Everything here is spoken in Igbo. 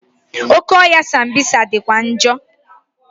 Oke ọhịa sambisa dịkwa njọ.